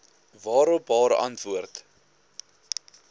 waarop haar antwoord